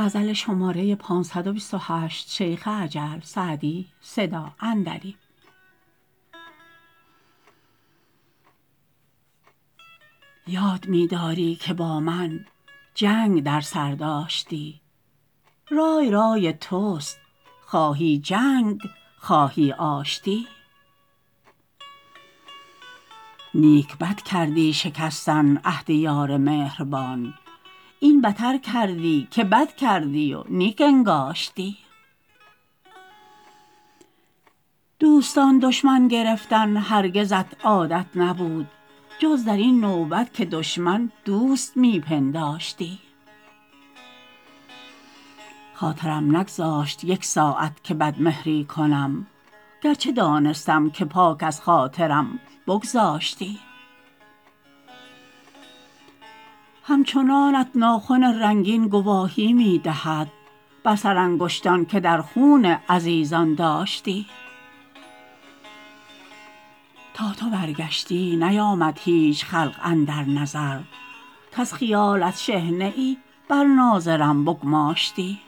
یاد می داری که با من جنگ در سر داشتی رای رای توست خواهی جنگ خواهی آشتی نیک بد کردی شکستن عهد یار مهربان این بتر کردی که بد کردی و نیک انگاشتی دوستان دشمن گرفتن هرگزت عادت نبود جز در این نوبت که دشمن دوست می پنداشتی خاطرم نگذاشت یک ساعت که بدمهری کنم گرچه دانستم که پاک از خاطرم بگذاشتی همچنانت ناخن رنگین گواهی می دهد بر سرانگشتان که در خون عزیزان داشتی تا تو برگشتی نیامد هیچ خلق اندر نظر کز خیالت شحنه ای بر ناظرم بگماشتی